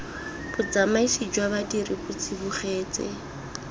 botsamaisi jwa badiri bo tsibogetse